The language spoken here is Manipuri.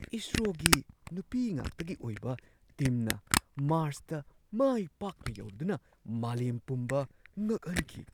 ꯏꯁꯔꯣꯒꯤ ꯅꯨꯄꯤ ꯉꯥꯛꯇꯒꯤ ꯑꯣꯏꯕ ꯇꯤꯝꯅ ꯃꯥꯔꯁꯇ ꯃꯥꯏ ꯄꯥꯛꯅ ꯌꯧꯔꯗꯨꯅ ꯃꯥꯂꯦꯝ ꯄꯨꯝꯕ ꯉꯛꯍꯟꯈꯤ ꯫